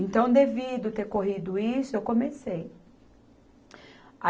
Então, devido ter corrido isso, eu comecei. A